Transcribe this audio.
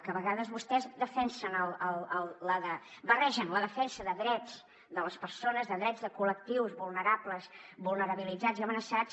que a vegades vostès barregen la defensa de drets de les persones de drets de col·lectius vulnerables vulnerabilitzats i amenaçats